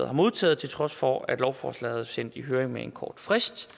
har modtaget til trods for at lovforslaget er sendt i høring med en kort frist